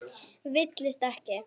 Villist ekki!